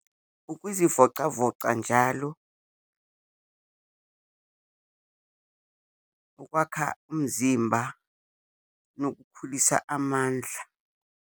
Ukuzivocavoca njalo, ukwakha umzimba, nokukhulisa amandla.